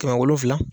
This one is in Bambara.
Kɛmɛ wolonwula